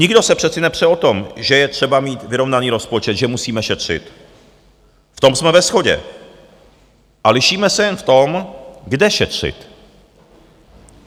Nikdo se přece nepře o to, že je třeba mít vyrovnaný rozpočet, že musíme šetřit, v tom jsme ve shodě, a lišíme se jen v tom, kde šetřit.